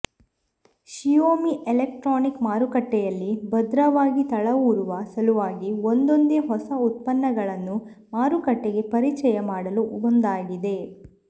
Xiaomi electronic ಮಾರುಕಟ್ಟೆಯಲ್ಲಿ ಭದ್ರವಾಗಿ ತಳವೂರುವ ಸಲುವಾಗಿ ಒಂದೊಂದೇ ಹೊಸ ಉತ್ಪನ್ನಗಳನ್ನು ಮಾರುಕಟ್ಟೆಗೆ ಪರಿಚಯ ಮಾಡಲು ಮುಂದಾಗಿದೆ